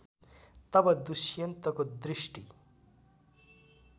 तब दुष्यन्तको दृष्टि